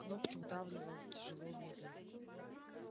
кнопки вдавливал тяжело медленно